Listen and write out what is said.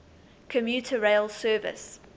commuter rail service